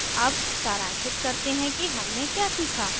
अब सारांशित करते हैं कि हमने क्या सीखा